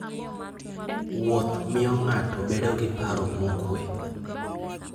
Wuoth miyo ng'ato bedo gi paro mokuwe.